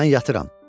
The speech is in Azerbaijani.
Mən yatıram.